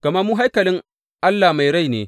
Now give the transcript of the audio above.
Gama mu haikalin Allah mai rai ne.